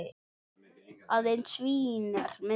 Aðeins Vín er minna.